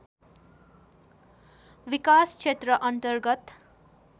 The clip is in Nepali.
विकासक्षेत्र अन्तर्गत